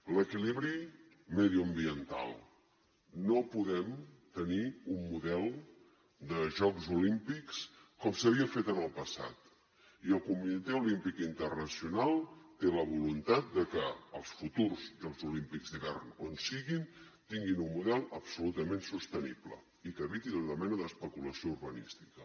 l’equilibri mediambiental no podem tenir un model de jocs olímpics com s’havia fet en el passat i el comitè olímpic internacional té la voluntat que els futurs jocs olímpics d’hivern on siguin tinguin un model absolutament sostenible i que eviti tota mena d’especulació urbanística